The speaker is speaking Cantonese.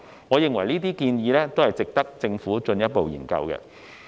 我認為這些建議值得政府進一步研究。